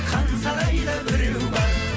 хан сарайда біреу бар